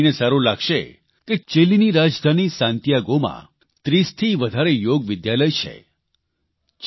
તમને એ જાણીને સારૂં લાગશે કે ચીલીની રાજધાની સાન્ટીયાગોમાં 30થી વધારે યોગ વિદ્યાલય છે